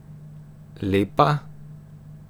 Lepa?